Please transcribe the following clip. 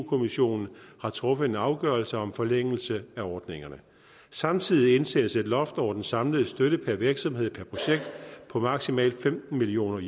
kommissionen har truffet en afgørelse om forlængelse af ordningerne samtidig indsættes et loft over den samlede støtte per virksomhed per projekt på maksimalt femten million